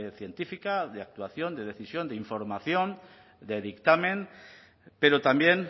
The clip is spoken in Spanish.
científica de actuación de decisión de información de dictamen pero también